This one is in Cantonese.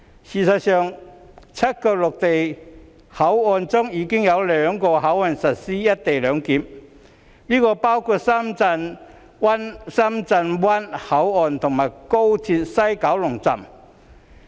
事實上，在7個陸路口岸中，已有兩個實施"一地兩檢"，包括深圳灣口岸及廣深港高速鐵路西九龍站。